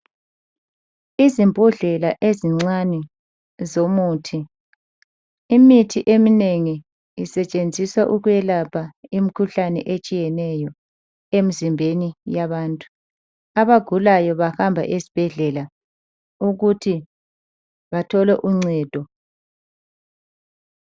Izimbodlela ezincane ezomuthi .Imithi eminengi isetshenziswa ukwelapha imkhuhlane etshiyeneyo emzimbeni yabantu. Abagulayo bahamba esbhedlela ukuthi bathole uncedo .